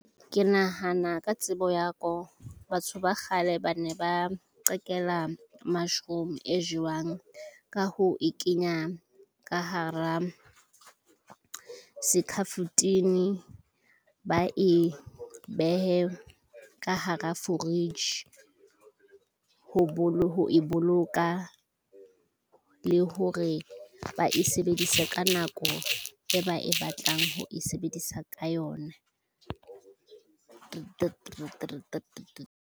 Ke nahana ka tsebo ya ko . Batho ba kgale ba ne ba qetela mushroom e jewang ka ho e kenya ka hara sekafotini, ba e behe ka hara fridge. Ho bile ho e boloka le hore ba e sebedisa ka nako e ba e batlang ho e sebedisa ka yona thutong .